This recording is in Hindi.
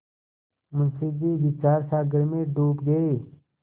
मुंशी जी विचारसागर में डूब गये